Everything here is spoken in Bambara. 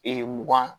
mugan